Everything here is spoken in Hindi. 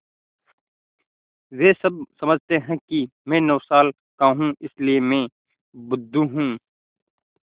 वे सब समझते हैं कि मैं नौ साल का हूँ इसलिए मैं बुद्धू हूँ